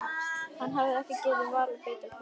Hann hefði ekki getað valið betra kvöld.